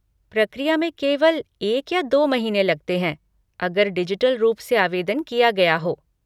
प्रक्रिया में केवल एक या दो महीने लगते हैं, अगर डिजिटल रूप से आवेदन किया गया हो।